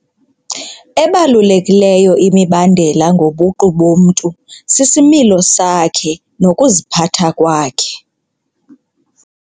Ebalulekileyo imibandela ngobuqu bomntu sisimilo sakhe nokuziphatha kwakhe.